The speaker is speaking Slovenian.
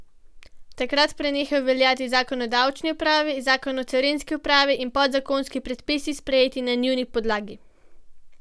Takrat prenehajo veljati zakon o davčni upravi, zakon o carinski upravi in podzakonski predpisi, sprejeti na njuni podlagi.